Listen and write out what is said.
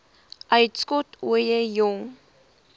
uitskot ooie jong